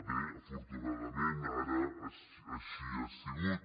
bé afortunadament ara així ha sigut